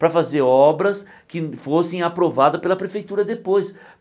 Para fazer obras que fossem aprovadas pela prefeitura depois.